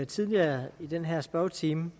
tidligere i den her spørgetime